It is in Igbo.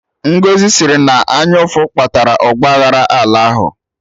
Ngọzi sịrị na ọ anyụ ụfụ kpatara ọgba aghara ala ahụ